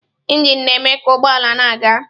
Injin na-eme ka ụgbọ ala na-aga.